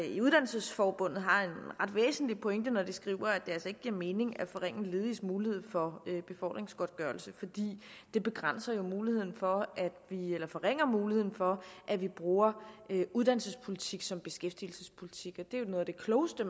i uddannelsesforbundet har en ret væsentlig pointe når de skriver at det altså ikke giver mening at forringe lediges mulighed for befordringsgodtgørelse fordi det begrænser muligheden for eller forringer muligheden for at vi bruger uddannelsespolitik som beskæftigelsespolitik det er jo noget af det klogeste